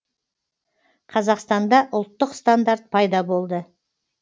қазақстанда ұлттық стандарт пайда болды